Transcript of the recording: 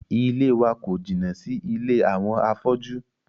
Ilée wa kò jìnnà sí ilé àwọn afọ́jú.